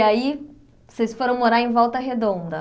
Aí, vocês foram morar em Volta Redonda.